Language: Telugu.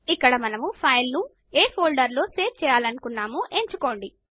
ఇక్కడ మనం ఫైలును ఏ ఫోల్డర్ లో సేవ్ చేయలనుకోన్నమో ఎంచుకోవచ్చు